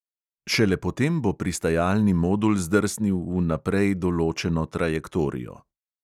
Šele potem bo pristajalni modul zdrsnil v naprej določeno trajektorijo.